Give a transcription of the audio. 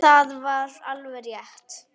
Og það var alveg rétt.